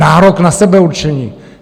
Nárok na sebeurčení.